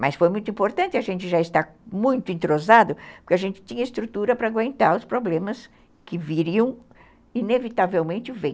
Mas foi muito importante, a gente já está muito entrosado, porque a gente tinha estrutura para aguentar os problemas que viriam, inevitavelmente vêm.